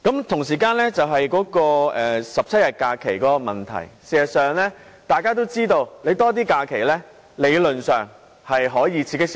同時，關於17天公眾假期的問題，大家其實也知道增加假期理論上可以刺激消費。